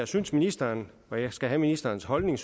synes ministeren og jeg skal have ministerens holdning